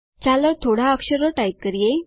ચાલો થોડા વધુ અક્ષરો ટાઇપ કરીએ